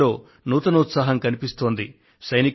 నేను కూడా ఒక విషయాన్ని ప్రస్తావించాలనుకొంటున్నాను